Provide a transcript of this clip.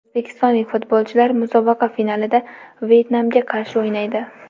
O‘zbekistonlik futbolchilar musobaqa finalida Vyetnamga qarshi o‘ynaydi.